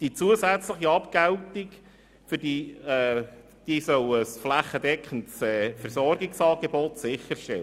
Die zusätzliche Abgeltung soll ein flächendeckendes Versorgungsangebot sicherstellen.